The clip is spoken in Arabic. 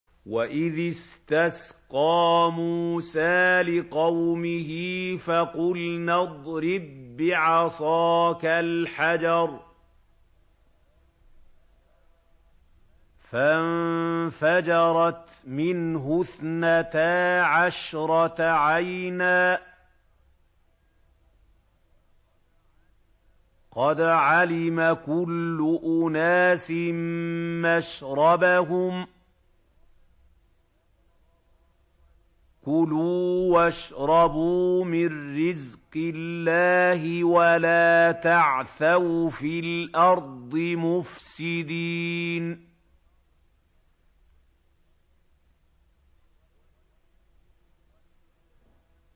۞ وَإِذِ اسْتَسْقَىٰ مُوسَىٰ لِقَوْمِهِ فَقُلْنَا اضْرِب بِّعَصَاكَ الْحَجَرَ ۖ فَانفَجَرَتْ مِنْهُ اثْنَتَا عَشْرَةَ عَيْنًا ۖ قَدْ عَلِمَ كُلُّ أُنَاسٍ مَّشْرَبَهُمْ ۖ كُلُوا وَاشْرَبُوا مِن رِّزْقِ اللَّهِ وَلَا تَعْثَوْا فِي الْأَرْضِ مُفْسِدِينَ